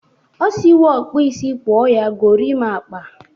O siwo ọkpụisi kpọ ya gorimakpa.